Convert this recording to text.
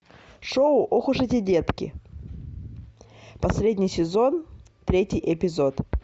шоу ох уж эти детки последний сезон третий эпизод